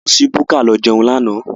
A lọ sí búkà lọ jẹun lánàá.